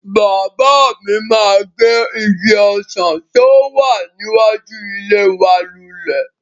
Bàbá mi máa gé igi ọsàn tí ó wà níwájú ilé wa lulẹ̀.